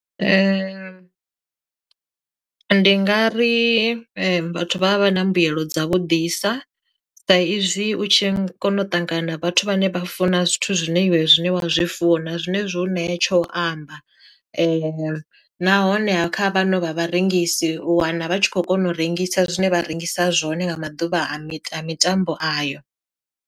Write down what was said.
Ndi ndi nga ri vhathu vha vha vha na mbuyelo dza vhu ḓisa sa izwi u tshi kona u ṱangana vhathu vhane vha funa zwithu zwine zwine wa zwi zwi funa zwine zwo ṋea tsho u amba, nahone kha vhaṅwe vha vharengisi u wana vha tshi kho kona u rengisa zwine vha rengisa zwone nga maḓuvha a mita mitambo ayo.